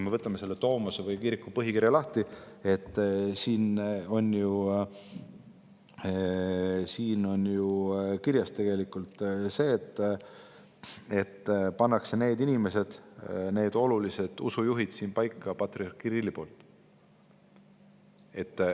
Võtame tomose, selle kiriku põhikirja lahti, siin on ju kirjas, et olulised usujuhid paneb paika patriarh Kirill.